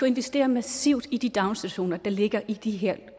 investere massivt i de daginstitutioner der ligger i de her